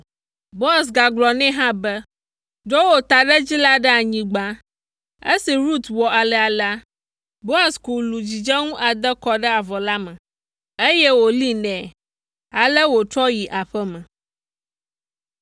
Boaz gagblɔ nɛ hã be, “Ɖo wò taɖedzi la ɖe anyigba.” Esi Rut wɔ alea la, Boaz ku lu dzidzenu ade kɔ ɖe avɔ la me, eye wòlée nɛ. Ale wòtrɔ yi aƒe me.